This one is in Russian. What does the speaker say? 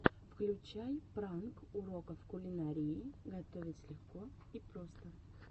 включай пранк уроков кулинарии готовить легко и просто